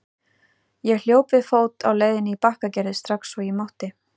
Ég hljóp við fót á leiðinni í Bakkagerði strax og ég mátti.